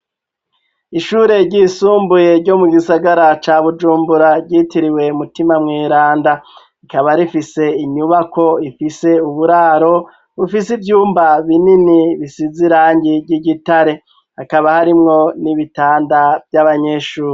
Ishure ryisumbuye ryo mu gisagara ca bujumbura ryitiriwe mutima mwiranda rikaba rifise inyubako ifise uburaro bufise ivyumba binini bisize irangi ry'igitare akaba harimwo n'ibitanda vy'abanyeshuri.